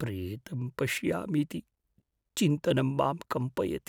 प्रेतं पश्यामीति चिन्तनं मां कम्पयति।